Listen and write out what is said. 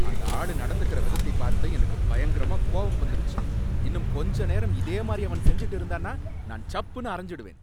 அந்த ஆளு நடந்துக்கற விதத்தை பார்த்து எனக்கு பயங்கரமா கோவம் வந்துருச்சு, இன்னும் கொஞ்ச நேரம் இதே மாதிரி அவன் செஞ்சுட்டு இருந்தான்னா நான் சப்புன்னு அறைஞ்சுடுவேன்.